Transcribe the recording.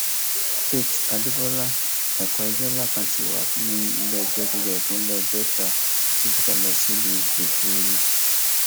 faith adébọlá ẹkọ ẹjọ ńlá kan ti wà ní nílẹẹjọ gíga ìpínlẹ delta tó fikale sílùú effunrun